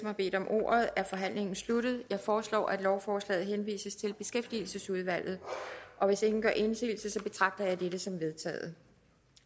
har bedt om ordet er forhandlingen sluttet jeg foreslår at lovforslaget henvises til beskæftigelsesudvalget hvis ingen gør indsigelse betragter jeg dette som vedtaget